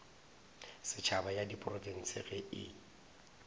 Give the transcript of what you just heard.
setšhaba ya diprofense ge e